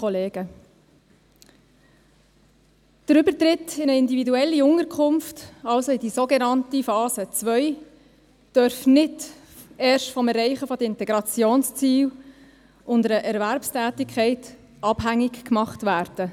Der Übertritt in eine individuelle Unterkunft, also in die sogenannte Phase 2, darf nicht erst vom Erreichen des Integrationsziels und einer Erwerbstätigkeit abhängig gemacht werden.